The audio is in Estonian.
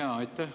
Aitäh!